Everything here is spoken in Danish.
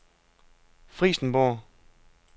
Frijsenborg